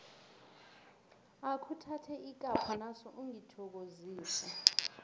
akhuthathe ikapho naso ungithokozise